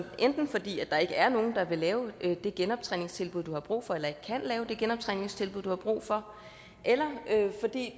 enten fordi der ikke er nogen der vil lave det genoptræningstilbud du har brug for eller ikke kan lave det genoptræningstilbud du har brug for eller fordi